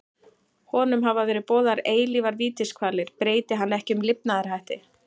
Honum hafa verið boðaðar eilífar vítiskvalir breyti hann ekki um lifnaðarhætti.